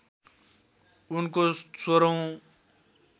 उनको १६ औँ